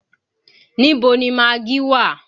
Níbo ni magí wà?